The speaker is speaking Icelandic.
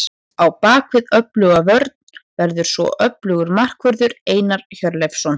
Á bakvið öfluga vörn verður svo öflugur markvörður, Einar Hjörleifsson.